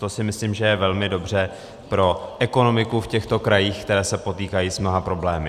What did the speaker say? To si myslím, že je velmi dobře pro ekonomiku v těchto krajích, které se potýkají s mnoha problémy.